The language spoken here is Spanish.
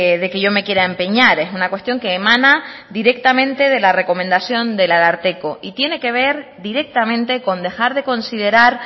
de que yo me quiera empeñar es una cuestión que emana directamente de la recomendación del ararteko y tiene que ver directamente con dejar de considerar